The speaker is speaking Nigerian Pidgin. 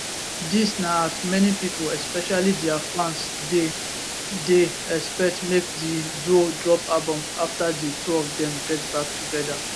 dis na as many pipo especially dia fans dey dey expect make di duo drop albums afta di two of dem get back togeda